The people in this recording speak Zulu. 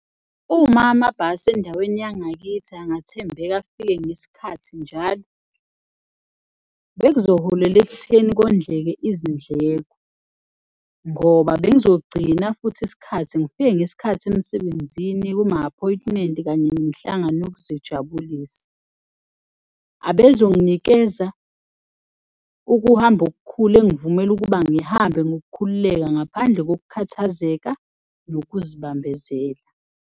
Uma amabhasi endaweni yangakithi angathembeka, afike ngesikhathi njalo, bekuzoholela ekutheni kondleke izindleko ngoba bengizogcina futhi isikhathi ngifike ngesikhathi emsebenzini, kuma-appointment kanye nemihlangano yokuzijabukisa. Abezonginikeza ukuhamba okukhulu engivumela ukuba ngihambe ngokukhululeka ngaphandle ngokukhathazeka nokuzibambezela.